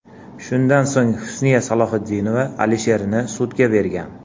Shundan so‘ng Husniya Salohiddinova Alisherni sudga bergan.